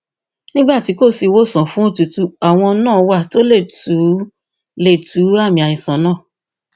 nígbà tí kò sí ìwòsàn fún òtútù àwọn nǹan wà tó lè tu lè tu àmì àìsàn náà